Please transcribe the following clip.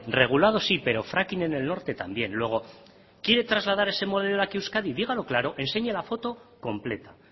regulado sí pero fracking en el norte también luego quiere trasladar este modelo aquí a euskadi dígalo claro enseñe la foto completa